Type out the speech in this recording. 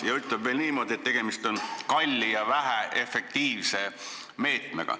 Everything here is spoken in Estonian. Ta ütleb veel niimoodi, et tegemist on kalli ja väheefektiivse meetmega.